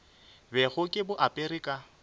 bego ke bo apere ka